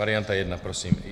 Varianta 1 prosím.